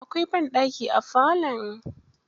Akwai ɓanɗaki a falon.